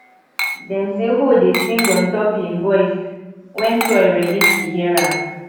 dem say hoe dey sing ontop e voice wen soil ready to hear am